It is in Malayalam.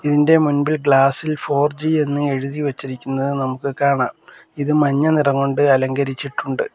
ഇതിന്റെ മുൻപിൽ ഗ്ലാസ് ഇൽ ഫോർ ജി എന്ന് എഴുതി വെച്ചിരിക്കുന്നത് നമുക്ക് കാണാം ഇത് മഞ്ഞ നിറം കൊണ്ട് അലങ്കരിച്ചിട്ടുണ്ട്.